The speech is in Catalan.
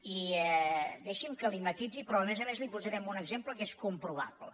i deixi’m que li ho matisi però a més a més li posaré un exemple que és comprovable